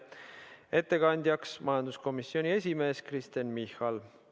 Ettekandjaks on majanduskomisjoni esimees Kristen Michal.